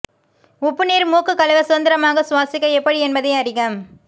உப்பு நீர் மூக்கு கழுவ சுதந்திரமாக சுவாசிக்க எப்படி என்பதை அறிக